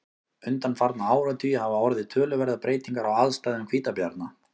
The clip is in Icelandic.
undanfarna áratugi hafa orðið töluverðar breytingar á aðstæðum hvítabjarna